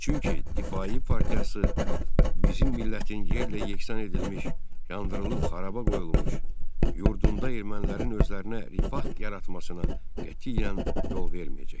Çünki Difai partiyası bizim millətin yerlə yeksan edilmiş, yandırılıb xarabaya qoyulmuş yurdunda ermənilərin özlərinə rifah yaratmasına qətiyyən yol verməyəcəkdir.